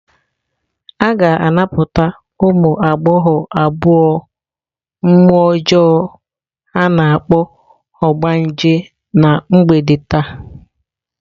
A ga-anapụta ụmụ agbọghọ abụọ mmụọ ọjọọ a na-akpọ "ogbanje" na mgbede taa.